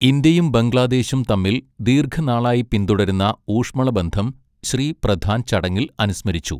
ഇന്ത്യയും ബംഗ്ലദേശും തമ്മിൽ ദീർഘനാളായി പിൻതുടരുന്ന ഊഷ്മളബന്ധം ശ്രീ പ്രധാൻ ചടങ്ങിൽ അനുസ്മരിച്ചു.